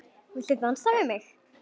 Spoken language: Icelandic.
Viltu dansa við mig?